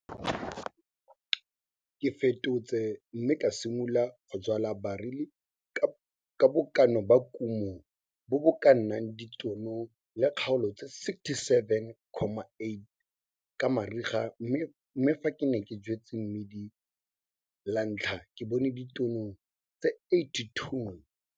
Ke fetotse mme ka simolola go jwala barli ka bokana ba kumo bo bo ka nnang ditono le kgaolo tse 67,8 ka mariga mme fa ke ne ke jwetse mmidi la ntlha ke bone ditono tse 82.